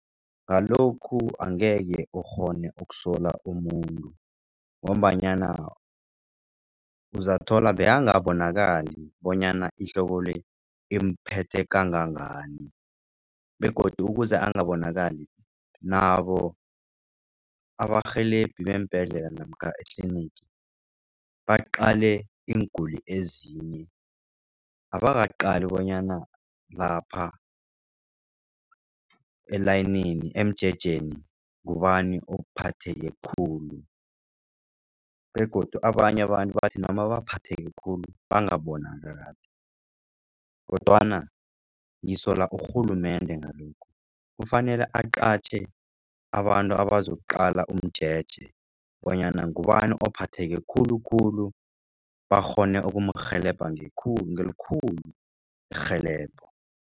Ngalokhu angeke ukghone ukusola umuntu. Ngombanyana uzathola bekangabonakali bonyana ihloko le iphethe kangangani begodu ukuze engabonakali nabo abarhelebhi beembhedlela namkha etlinigi baqale iinguli ezinye. Abakaqali bonyana lapha elayinini emjejeni ngubani ophatheke khulu begodu abanye abantu bathi noma baphatheke khulu bangabonakali kodwana ngisola urhulumende ngalokhu. Kufanele aqatjhe abantu abazokuqala umjeje bonyana ngubani ophatheke khulukhulu bakghone ukumrhelebha ngelikhulu irhelebho.